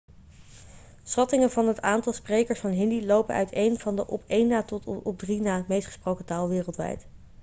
schattingen van het aantal sprekers van hindi lopen uiteen van de op één na tot de op drie na meest gesproken taal wereldwijd